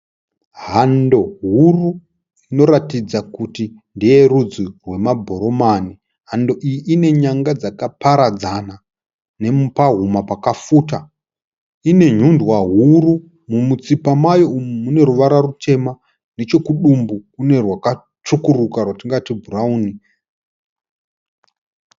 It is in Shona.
Hando huru inoratidza kuti ndeye rudzi rwemabhurumani. Hando iyi ine nyanga dzakaparadzana nepahuma pakafuta. Ine nhundwa huru. Mumutsipa mayo umu mune ruvara rutema nechekudumbu kune rwakatsvukuruka rwatingati bhurawuni.